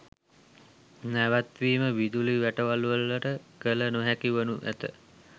නැවැත්වීම විදුලි වැටවල්වලට කළ නොහැකි වනු ඇත.